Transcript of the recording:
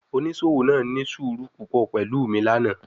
Onisowo naa ni suuru pupọ pẹlu mi lana